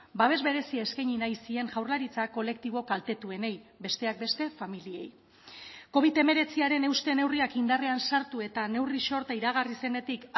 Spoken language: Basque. babes berezia eskaini nahi zien jaurlaritzak kolektibo kaltetuenei besteak beste familiei covid hemeretziaren euste neurriak indarrean sartu eta neurri sorta iragarri zenetik